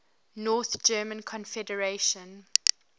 north german confederation